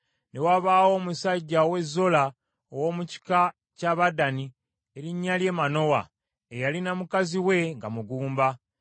Ne wabaawo omusajja ow’e Zola, ow’omu kika ky’Abadaani, erinnya lye Manowa, eyalina mukazi we nga mugumba.